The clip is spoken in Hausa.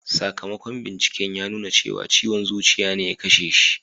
Sakamakon binciken ya nuna cewa ciwon zuciya ne ya kashe shi.